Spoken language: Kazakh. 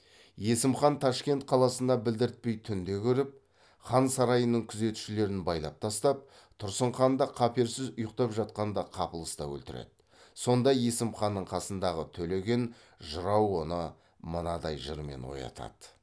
есім хан ташкент қаласына білдіртпей түнде кіріп хан сарайының күзетшілерін байлап тастап тұрсын ханды қаперсіз ұйықтап жатқанда қапылыста өлтіреді сонда есім ханның қасындағы төлеген жырау оны мынадай жырмен оятады